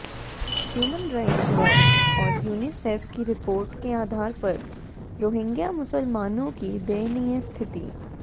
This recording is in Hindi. ह्यूमन राइट्स वॉच और यूनिसेफ की रिपोर्ट के आधार पर रोहिंग्या मुसलमानों की दयनीय स्थिति